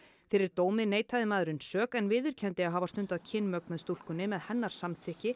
fyrir dómi neitaði maðurinn sök en viðurkenndi að hafa stundað kynmök með stúlkunni með hennar samþykki